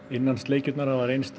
innansleikjurnar hafa reynst